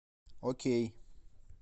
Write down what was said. окей